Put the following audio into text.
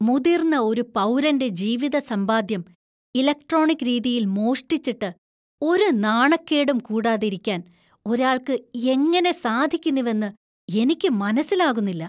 മുതിർന്ന ഒരു പൗരന്‍റെ ജീവിതസമ്പാദ്യം ഇലക്‌ട്രോണിക് രീതിയില്‍ മോഷ്ടിച്ചിട്ട് ഒരു നാണക്കേടും കൂടാതിരിക്കാന്‍ ഒരാള്‍ക്ക് എങ്ങനെ സാധിക്കുന്നുവെന്നു എനിക്ക് മനസ്സിലാകുന്നില്ല.